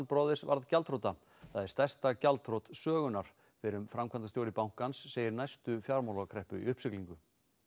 Brothers varð gjaldþrota það er stærsta gjaldþrot sögunnar fyrrum framkvæmdastjóri bankans segir næstu fjármálakreppu í uppsiglingu